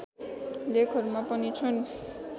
लेखहरूमा पनि छन्